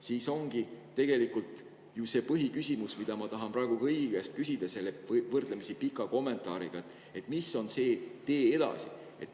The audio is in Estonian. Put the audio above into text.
Siis ongi tegelikult ju põhiküsimus see, mida ma tahan praegugi kõigi käest selle võrdlemisi pika kommentaariga küsida: mis on see tee edasi?